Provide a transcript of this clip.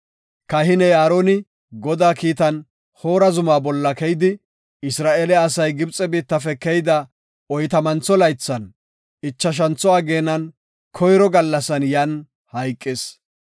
Kahiney Aaroni Godaa kiitan Hoora zuma bolla keyidi, Isra7eele asay Gibxe biittafe keyida oytamantho laythan, ichashantho ageenan, koyro gallasan yan hayqis.